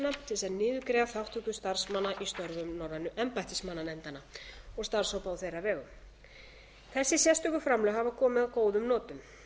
til þess að niðurgreiða þátttöku starfsmanna í störfum norrænu embættismannanefndanna og starfshópa á þeirra vegum þessi sérstöku framlög hafa komið að góðum notum